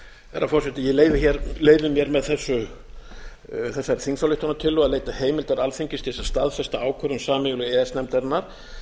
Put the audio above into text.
herra forseti ég leyfi mér með þessari þingsályktunartillögu að leita leita heimildar alþingis til þess að staðfest ákvörðun sameiginlegu e e s nefndarinnar